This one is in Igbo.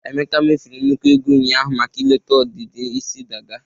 Emeka mefuru nnukwu ego ụnyaahụ maka ileta ọdịdị isi dada.